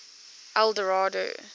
eldorado